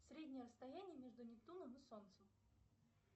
среднее расстояние между нептуном и солнцем